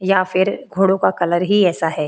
या फिर घोड़ों का कलर ही ऐसा है।